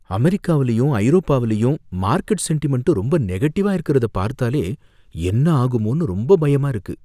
அமெரிக்காவுலையும் ஐரோப்பாவுலையும் market sentiment ரொம்ப நெகடிவ்வா இருக்கிறத பார்த்தாலே, என்ன ஆகுமோனு ரொம்ப பயமா இருக்கு.